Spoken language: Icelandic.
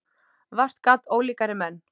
Vart gat ólíkari menn.